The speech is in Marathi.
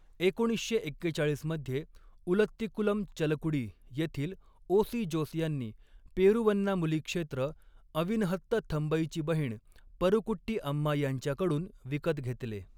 एकोणीसशे एक्केचाळीस मध्ये, उलत्तीकुलम, चलकुडी येथील ओ.सी. जोस यांनी पेरुवन्नामुली क्षेत्र अविनहत्त थंबईची बहीण परुकुट्टी अम्मा यांच्याकडून विकत घेतले.